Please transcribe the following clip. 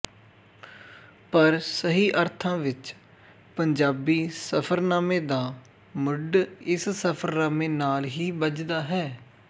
ਪਰ ਸਹੀ ਅਰਥਾਂ ਵਿੱਚ ਪੰਜਾਬੀ ਸਫ਼ਰਨਾਮੇ ਦਾ ਮੁੱਢ ਇਸ ਸਫ਼ਰਨਾਮੇ ਨਾਲ ਹੀ ਬੱਝਦਾ ਹੈ